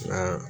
Nka